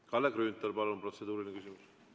Kalle Grünthal, palun, protseduuriline küsimus!